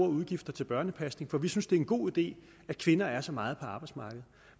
udgifter til børnepasning for vi synes det er en god idé at kvinder er så meget på arbejdsmarkedet